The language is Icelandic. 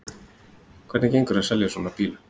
Hvernig gengur að selja svona bíla?